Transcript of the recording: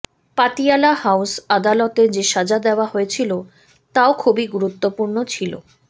Patiala house আদালতে যে সাজা দেওয়া হয়েছিল তাও খুবই গুরুত্বপূর্ণ ছিল